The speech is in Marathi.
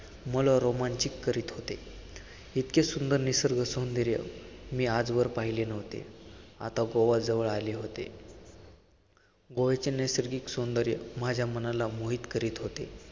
मला रोमांचित करत होते, इतके सुंदर निसर्ग सौंदर्य मी आजवर पाहिले नव्हते, आता गोवाजवळ आले होते. गोव्याचे नैसर्गिक सौंदर्य माझ्या मनाला मोहित करीत होते.